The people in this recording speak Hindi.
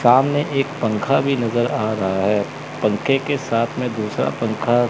सामने एक पंखा भी नजर आ रहा है पंखे के साथ में दूसरा पंखा--